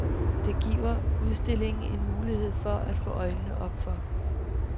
Det giver udstillingen en mulighed for at få øjnene op for.